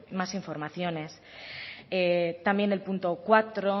más informaciones también el punto cuatro